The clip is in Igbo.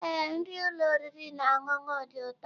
Ee, nri ụlọ oriri na ọṅụṅụ dị ụtọ.